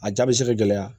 A jaa bɛ se ka gɛlɛya